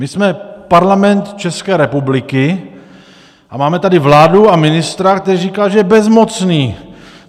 My jsme Parlament České republiky a máme tady vládu a ministra, který říká, že je bezmocný!